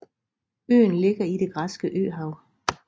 Øen ligger i Det græske Øhav